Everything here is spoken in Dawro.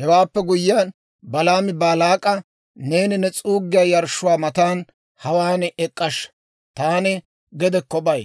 Hewaappe guyyiyaan, Balaami Baalaak'a, «Neeni ne s'uuggiyaa yarshshuwaa matan hawaan ek'k'ashsha; taani gedekko bay.